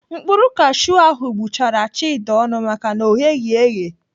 Mkpụrụ kashiu ahụ gbụchara Chika ọnụ maka na ọ gheghị eghe.